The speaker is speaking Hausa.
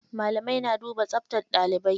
Malamai na duba tsabtar ɗalibai.